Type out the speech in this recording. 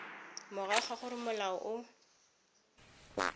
morago ga gore molao o